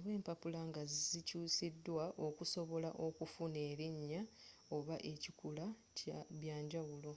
oba empapula nga zikyusiddwa okusobola okufaanana erinya oba ekikula byanjawulo